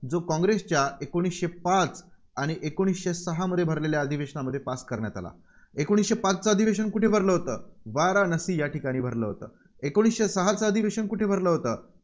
जो काँग्रेसच्या एकोणीसशे पाच आणि एकोणीसशे सहामध्ये भरलेल्या अधिवेशनात pass करण्यात आला. एकोणीसशे पाचचं अधिवेशन कुठे भरलेलं होतं? वाराणसी या ठिकाणी भरलेलं होतं. एकोणीसशे सहाचं अधिवेशन कुठे भरलं होतं?